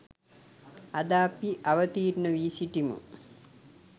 අද අපි අවතීර්ණ වී සිටිමු.